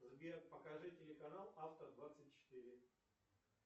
сбер покажи телеканал авто двадцать четыре